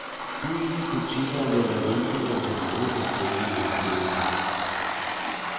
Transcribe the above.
Byens butikker lægger vinduer til mange forskellige udstillinger.